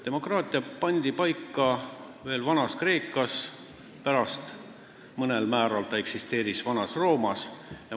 Demokraatia reeglid pandi paika Vana-Kreekas, pärast eksisteerisid need mõnel määral ka Vana-Roomas.